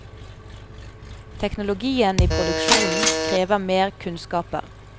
Teknologien i produksjonen krever mer kunnskaper.